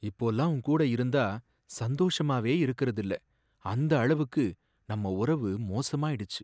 இப்போல்லாம் உன்கூட இருந்தா சந்தோஷமாவே இருக்கறதில்லை, அந்த அளவுக்கு நம்ம உறவு மோசமாயிடுச்சு.